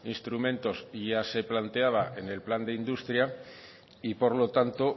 instrumentos y ya se planteaba en el plan de industria y por lo tanto